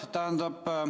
Aitäh!